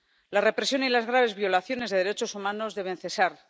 La represión y las graves violaciones de los derechos humanos deben cesar.